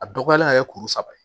A dɔgɔyalen ka kɛ kuru saba ye